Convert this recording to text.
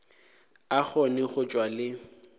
a kgone go tšwa le